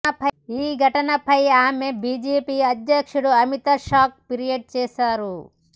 ఈ ఘటనపై ఆమె బీజేపీ అధ్యక్షుడు అమిత్ షాకు ఫిర్యాదు చేశారు